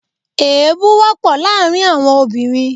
Èébú wọ́pọ̀ láàrin àwọn obìnrin